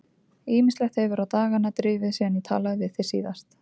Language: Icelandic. Ýmislegt hefur á dagana drifið síðan ég talaði við þig síðast.